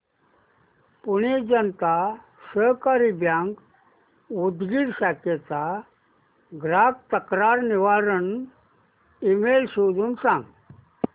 Pune Janata Sahakari bank Udgir शाखेचा ग्राहक तक्रार निवारण ईमेल शोधून सांग